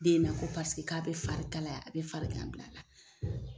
Denna Ko paseke k' a bɛ fari kalaya, a bɛ farigan bila a la.